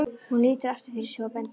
Hún lítur aftur fyrir sig og bendir.